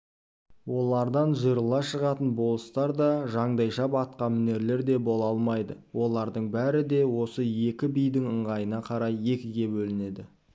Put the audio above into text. олардан жырыла шығатын болыстар да жандайшап атқамінерлер де бола ал майды олардың бәрі де осы екі бидің ыңғайына қарай екіге бөлінеді